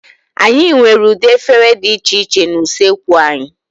Anyị nwere ụdị efere dị iche iche na usoekwu anyị.